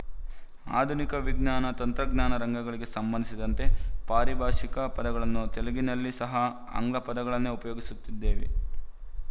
ಆಧುನಿಕ ವಿಜ್ಞಾನತಂತ್ರಜ್ಞಾನ ರಂಗಗಳಿಗೆ ಸಂಭಂದಿಸಿದಂತೆ ಪಾರಿಭಾಶಿಕ ಪದಗಳನ್ನು ತೆಲುಗಿನಲ್ಲಿ ಸಹ ಆಂಗ್ಲಪದಗಳನ್ನೇ ಉಪಯೋಗಿಸುತ್ತಿದ್ದೇವೆ